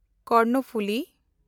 Karnaphuli